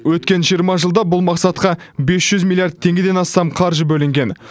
өткен жиырма жылда бұл мақсатқа бес жүз миллиард теңгеден астам қаржы бөлінген